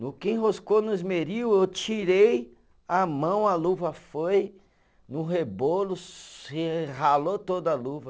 No que enroscou no esmeril, eu tirei a mão, a luva foi no rebolo, se ralou toda a luva.